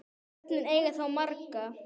Börnin eiga þá marga